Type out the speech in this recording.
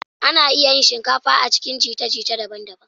Ana iya yin shinkafa a cikin jita-jita daban-daban.